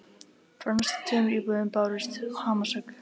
Frá næstu tveimur íbúðum bárust hamarshögg.